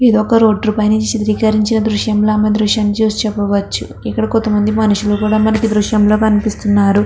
ఇది ఒక రోడ్ పైన చిత్రకరిచిన దృశీంలా ఈ దృశాన్ని చూసి చేపవోచ్చు. ఇక్కడ కొంత మంది మనుష్యులు కూడా మనకి దృశంలో కనిపిస్తున్నారు.